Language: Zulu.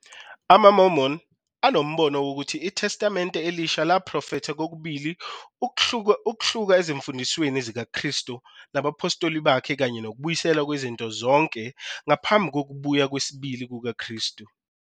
AmaMormon anombono wokuthi iTestamente Elisha laprofetha kokubili ukuhlubuka ezimfundisweni zikaKristu nabaphostoli bakhe kanye nokubuyiselwa kwezinto zonke ngaphambi kokubuya kwesibili kukaKristu.